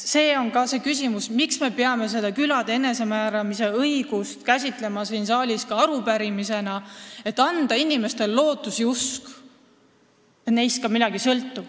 Seepärast me peamegi külade enesemääramise õigust käsitlema siin saalis ka arupärimisena, et anda inimestele lootus ja usk, et neist ka midagi sõltub.